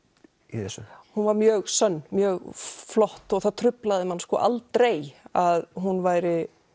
í þessu hún var mjög sönn mjög flott og það truflaði mann aldrei að hún væri